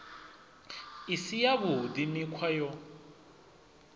i si yavhuḓi mikhwa yo